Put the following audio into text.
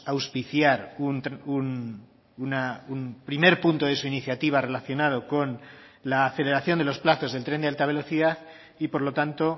auspiciar un primer punto de su iniciativa relacionado con la aceleración de los plazos del tren de alta velocidad y por lo tanto